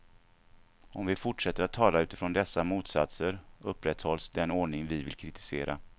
Om vi fortsätter att tala utifrån dessa motsatser, upprätthålls den ordning vi vill kritisera.